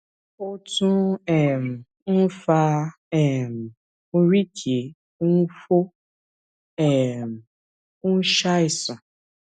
ẹrù ń bà um um mí kí wọn má lọ ṣe ara wọn léṣe lọjọ kan